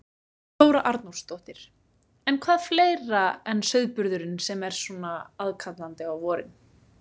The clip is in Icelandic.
Þóra Arnórsdóttir: En hvað er fleira en sauðburðurinn sem er svona aðkallandi á vorin?